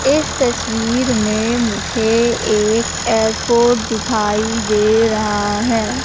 इस तस्वीर में मुझे एक एयरपोर्ट दिखाई दे रहा है।